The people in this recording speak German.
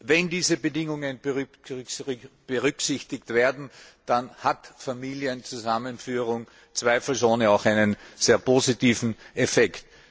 Wenn diese Bedingungen berücksichtigt werden, dann hat Familienzusammenführung zweifelsohne auch einen sehr positiven Effekt.